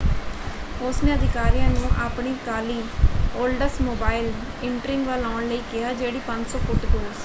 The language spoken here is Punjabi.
ਉਸਨੇ ਅਧਿਕਾਰੀਆਂ ਨੂੰ ਆਪਣੀ ਕਾਲੀ ਓਲਡਸਮੋਬਾਈਲ ਇੰਟ੍ਰੀਗ ਵੱਲ ਆਉਣ ਲਈ ਕਿਹਾ ਜਿਹੜੀ 500 ਫੁੱਟ ਦੂਰ ਸੀ।